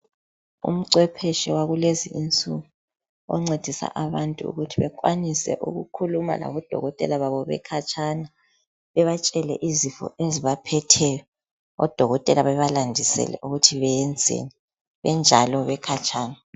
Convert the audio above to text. Umcwepheshe wakulezinsuku oncedisa abantu ukuthi bekwanise ukukhuluma labodokotela babo bekhatshana, bebatshele izifo ezibaphetheyo, odokotela bebalandisele ukuthi beyenzeni benjalo bekhatshana.